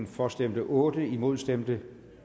for stemte otte imod stemte